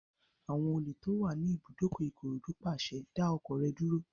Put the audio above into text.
Àwọn olè tó wà ní ibùdókọ̀ Ìkòròdú pàṣẹ, "dá ọkọ̀ rẹ dúró!"